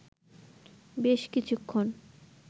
বেশ কিছুক্ষণ